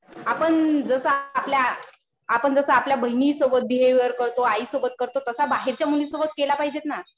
आपण जसं आता आपल्या बहिणीसोबत बिहेवियर करतो. आईसोबत करतो तसा बाहेरच्या मुलीसोबत केलं पाहिजेत ना.